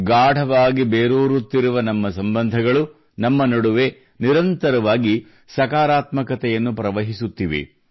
ಗಾಢವಾಗಿ ಬೇರೂರುತ್ತಿರುವ ನಮ್ಮ ಸಂಬಂಧಗಳು ನಮ್ಮ ನಡುವೆ ನಿರಂತರವಾಗಿ ಸಕಾರಾತ್ಮಕತೆಯನ್ನು ಪ್ರವಹಿಸುತ್ತಿವೆ